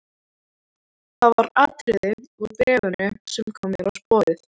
Það var atriði úr bréfinu sem kom mér á sporið.